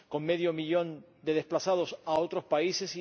con medio millón de desplazados a otros países